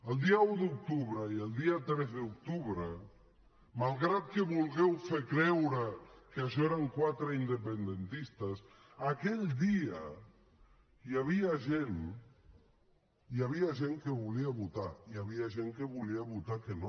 el dia un d’octubre i el dia tres d’octubre malgrat que vulgueu fer creure que això eren quatre independentistes aquell dia hi havia gent que volia votar i hi havia gent que volia votar que no